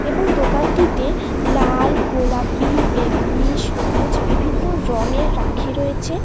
এবং দোকানটিতে লাল গোলাপি বেগুনি সবুজ বিভিন্ন রঙের রাখী রয়েছে।